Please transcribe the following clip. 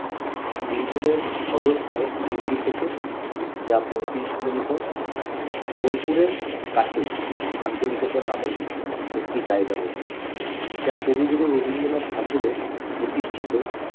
বীরভূমের সদর শহর সিউড়ি থেকে যা পইত্রিস কিলোমিটার, বোলপুরের কাছেই শান্তিনিকেতন নামক একটি জায়গা রয়েছে যা কবিগুরু রবীন্দ্রনাথ ঠাকুরের প্রতিষ্ঠিত